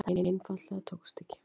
Það einfaldlega tókst ekki.